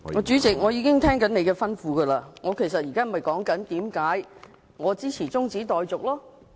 主席，我已遵照你的吩咐，我現正說明我為何支持中止待續。